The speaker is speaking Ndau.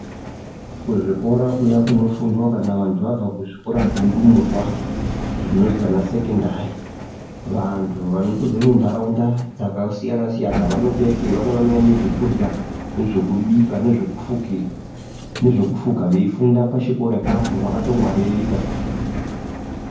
Kuzvikora kuya kunofundwa kana vantu vabva kuzvikora zveundumurwa zvinonzi ana sekondari vantu vanotobva kunharaunda dzakasiyana siyana vanotouya vamweni vanouya nezvekurya nezvekubika nezvekufuka veifunda pachikora apapo vakatongwaririka.